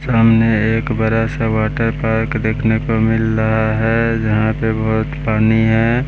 सामने एक बड़ा सा वाटर पार्क देखने को मिल रहा है जहां पे बहोत पानी है।